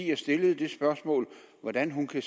jeg stillede spørgsmålet hvordan kan